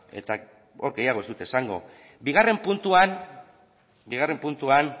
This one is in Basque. eta hor gehiago ez dut esango bigarren puntuan